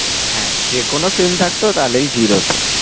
হ্যাঁ যেকোনো film থাকতো তাহলেই ভিড় হতো।